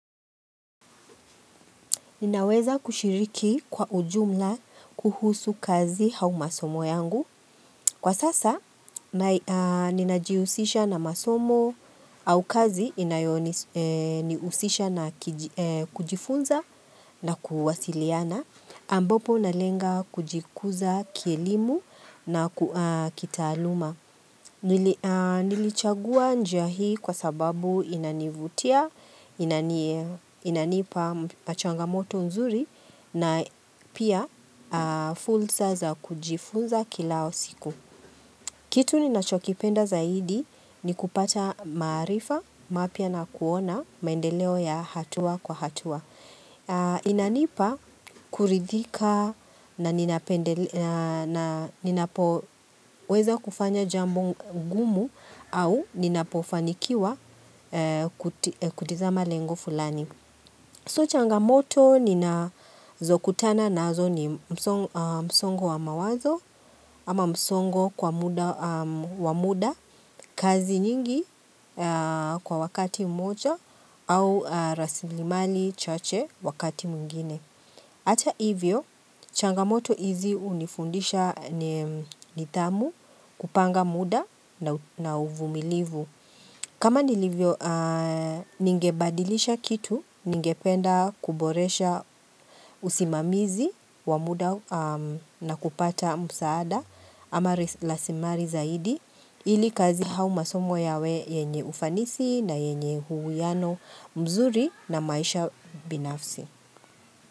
Ninaweza kushiriki kwa ujumla kuhusu kazi au masomo yangu. Kwa sasa, ninajihusisha na masomo au kazi inayonihusisha na kujifunza na kuwasiliana. Ambapo nalenga kujikuza kielimu na kitaaluma. Nilichagua njia hii kwa sababu inanivutia, inanipa machangamoto nzuri. Na pia fursa za kujifunza kila siku. Kitu ninachokipenda zaidi ni kupata maarifa mapya na kuona maendeleo ya hatua kwa hatua. Inanipa kuridhika na ninapoweza kufanya jambo gumu au ninapofanikiwa kutizama lengo fulani. So changamoto ninazokutana nazo ni msongo wa mawazo ama msongo kwa muda kazi nyingi kwa wakati mmoja au rasilimali chache wakati mwingine. Hata hivyo changamoto hizi hunifundisha nidhamu, kupanga muda na uvumilivu. Kama nilivyo ningebadilisha kitu, ningependa kuboresha usimamizi wa muda na kupata msaada ama rasilimali zaidi ili kazi au masomo yawe yenye ufanisi na yenye uwiano mzuri na maisha binafsi.